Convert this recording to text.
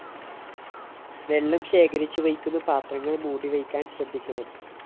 വെള്ളം ശേഖരിച്ച് വയ്ക്കുന്ന പാത്രങ്ങള്‍ മൂടിവയ്ക്കാന്‍ ശ്രദ്ധിക്കണം